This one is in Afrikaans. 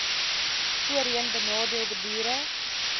voorheen benadeelde boere